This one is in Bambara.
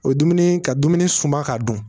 O ye dumuni ka dumuni sunba k'a dun